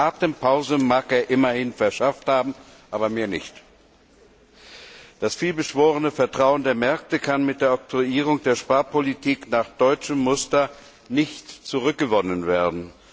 Eine Atempause mag er immerhin verschafft haben, aber mehr nicht. Das vielbeschworene Vertrauen der Märkte kann mit der Oktroyierung der Sparpolitik nach deutschem Muster nicht zurückgewonnen werden.